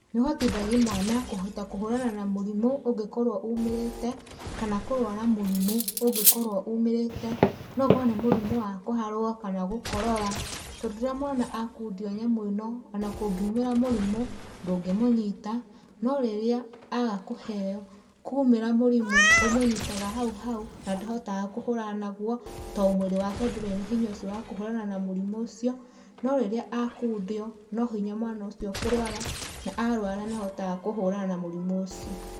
Nĩ ũhotithagia mwana kũhota kũhũrana na mũrimũ ũngĩkorwo umĩrite, kana kũrwara mũrimũ ũngĩkorwo umĩrite, no gũkorwo nĩ mũrimũ wa kũharwo kana gũkorora. Tondu rĩrĩa mwana akundio nyamũ ĩno ona kũngiumĩra mũrimũ ndũngĩmũnyita, no rĩrĩa aga kũheo kwaumĩra mũrimũ ũmũnyitaga hauhau na ndahotaga kũhũrana naguo tondũ mwĩrĩ wake ndũrĩ na hinya ũcio wa kũhũrana na mũrimũ ũcio. No rĩrĩa akundio no hinya mwana ũcio kũrwara, na arwara nĩ ahotaga kũhũrana na mũrimũ ũcio.